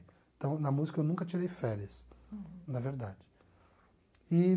Então, na música eu nunca tirei férias, na verdade e